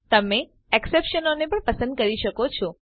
તમે એક્સેપ્શનો અપવાદો ને પણ પસંદ કરી શકો છો